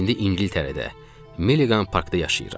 İndi İngiltərədə, Milliqan parkda yaşayıram.